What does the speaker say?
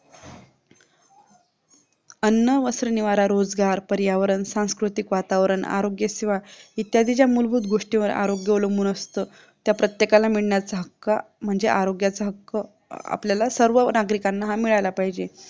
अन्न वस्त्र निवारा रोजगार पर्यावरण सांस्कृतिक वातावरण आरोग्य सेवा इत्यादी ज्या मूलभूत गोष्टींवर आरोग्य अवलंबून असतं त्या प्रत्येकाला मिळण्याचा हक्क म्हणजे आरोग्याचा हक्क आपल्याला सर्व नागरिकांना हा मिळायला पाहिजे